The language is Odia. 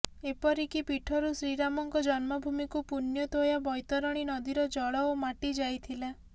ଏପରିକି ପୀଠରୁ ଶ୍ରୀରାମଙ୍କ ଜନ୍ମଭୂମୀକୁ ପୂଣ୍ୟତୋୟା ବୈତରଣୀନଦୀର ଜଳ ଓ ମାଟି ଯାଇଥିଲା